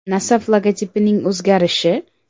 “Nasaf” logotipining o‘zgarishi?